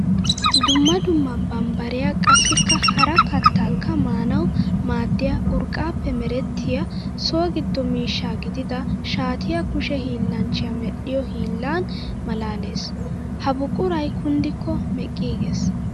Dumma dumma bambbariya qassikka hara kattakka maanawu maadiya urqqappe meretiya so gido miishsha gidida shaatiya kushe hiillanchchiya medhiyo hiillan malaales. Ha buquray kunddikko meqqigees.